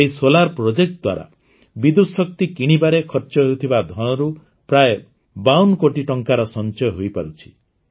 ଏହି ସୌର ପ୍ରକଳ୍ପ ଦ୍ୱାରା ବିଦ୍ୟୁତ ଶକ୍ତି କିଣିବାରେ ଖର୍ଚ୍ଚ ହେଉଥିବା ଧନରୁ ପ୍ରାୟ ବାଉନ କୋଟି ଟଙ୍କାର ସଂଚୟ ହୋଇପାରୁଛି